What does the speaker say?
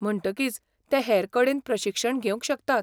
म्हणटकीच ते हेर कडेन प्रशिक्षण घेवंक शकतात.